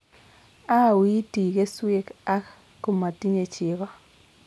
auuiiti keswek ak komatinyei chego